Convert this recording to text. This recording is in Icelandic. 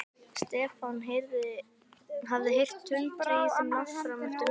Stefán hafði heyrt tuldrið í þeim langt fram eftir nóttu.